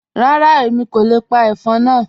Rárá, Èmi kò le pa ẹ̀fọ́n náà.